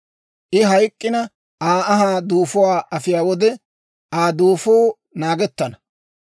I hayk'k'ina, Aa anhaa duufuwaa afiyaa wode, Aa duufuu naagettana.